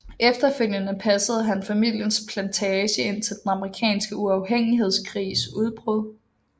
Efterfølgende passede han familiens plantage indtil den Amerikanske uafhængighedskrigs udbrud